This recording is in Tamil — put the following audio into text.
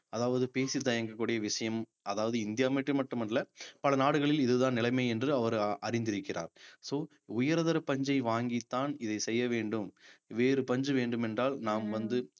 அதாவது பேசித் தயங்கக் கூடிய விஷயம் அதாவது இந்தியா மட்டும் அல்ல பல நாடுகளில் இதுதான் நிலைமை என்று அவர் அறிந்திருக்கிறார் so உயர்தர பஞ்சை வாங்கித்தான் இதை செய்ய வேண்டும் வேறு பஞ்சு வேண்டும் என்றால் நாம் வந்து